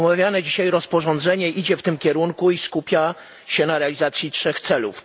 Omawiane dzisiaj rozporządzenie idzie w tym kierunku i skupia się na realizacji trzech celów.